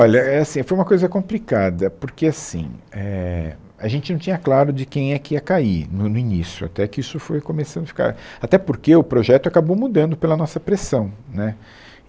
Olha, é assim, foi uma coisa complicada, porque assim, éh, a gente não tinha claro de quem é que ia cair no no início, até que isso foi começando a ficar... Até porque o projeto acabou mudando pela nossa pressão. Né